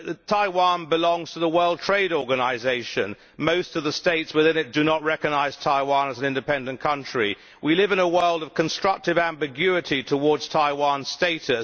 Taiwan belongs to the World Trade Organisation most of the states within it do not recognise Taiwan as an independent country. We live in a world of constructive ambiguity towards Taiwan's status.